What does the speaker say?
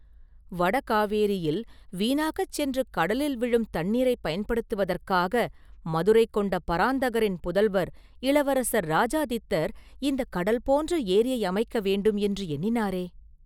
வட காவேரியில் வீணாகச் சென்று கடலில் விழும் தண்ணீரைப் பயன்படுத்துவதற்காக மதுரை கொண்ட பராந்தகரின் புதல்வர் இளவரசர் இராஜாதித்தர் இந்தக் கடல் போன்ற ஏரியை அமைக்க வேண்டுமென்று எண்ணினாரே?